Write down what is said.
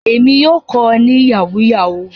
Èmi yóò kọ ẹ ní Yahoo yahoo